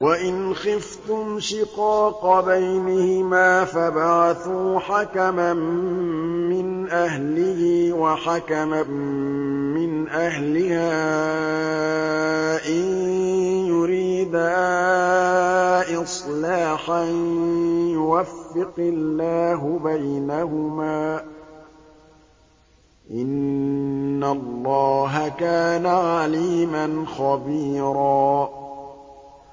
وَإِنْ خِفْتُمْ شِقَاقَ بَيْنِهِمَا فَابْعَثُوا حَكَمًا مِّنْ أَهْلِهِ وَحَكَمًا مِّنْ أَهْلِهَا إِن يُرِيدَا إِصْلَاحًا يُوَفِّقِ اللَّهُ بَيْنَهُمَا ۗ إِنَّ اللَّهَ كَانَ عَلِيمًا خَبِيرًا